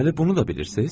Deməli bunu da bilirsiz?